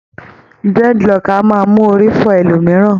Dreadlocks a máa mú orí fọ́ ẹlòmìíràn